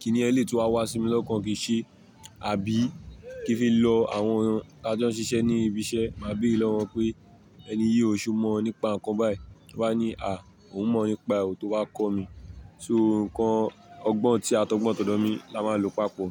kíní ẹlẹ́tì tí wá wá sí mi lọ́kàn kì í ṣe, àbí kí n fi lọ àwọn tí a jo ń ṣiṣẹ́ ní ibi iṣẹ́, màá béèrè lọ́wọ́ wọn pé "Ẹni yìí ò ṣe o mọ̀ ọ nípa nǹkan báyìí." Wọn á ní "À, òun mọ̀ ọ nípa òun" tó bá kọ́ mi. So nǹkan ọgbọ́n tí e a tọgbọ́n tọdọ mí la máa lò papọ̀.